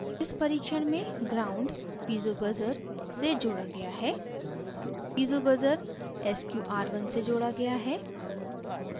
इस परिक्षण में ground gnd piezo buzzer piezo से जोड़ा गया है piezo buzzer piezo sqr1 से जोड़ा गया है